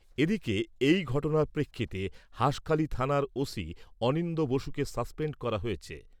এদিকে, এই ঘটনার প্রেক্ষিতে হাঁসখালি থানার অনিন্দ্য বসুকে সাসপেন্ড করা হয়েছে।